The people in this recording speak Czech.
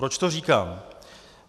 Proč to říkám?